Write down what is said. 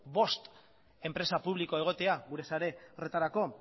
bost enpresa publiko egotea gure sare horretarako